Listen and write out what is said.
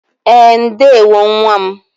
E, ndewo nwa m